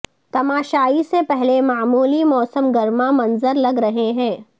تماشائی سے پہلے معمولی موسم گرما منظر لگ رہے ہو